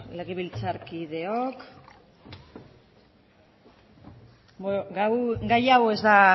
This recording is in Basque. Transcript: legebiltzarkideok bueno gai hau ez